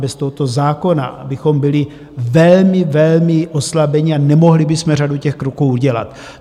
Bez tohoto zákona bychom byli velmi, velmi oslabení a nemohli bychom řadu těch kroků udělat.